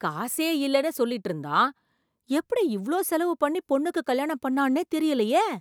காசே இல்லேன்னு சொல்லிட்டிருந்தான், எப்படி இவ்ளோ செலவு பண்ணி பொண்ணுக்கு கல்யாணம் பண்ணான்னே தெரியலையே!